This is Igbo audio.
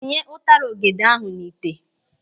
Tinye ụtara ọ́gẹ̀dẹ̀ ahụ n'ite.